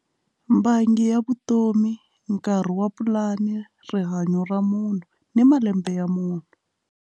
Bangi ya vutomi nkarhi wa pulani rihanyo ra munhu ni malembe ya munhu.